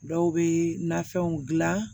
Dɔw bɛ nafɛnw dilan